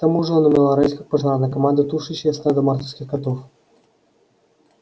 к тому же он умел орать как пожарная команда тушащая стадо мартовских котов